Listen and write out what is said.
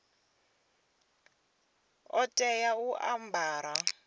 ḓo tea u a ambara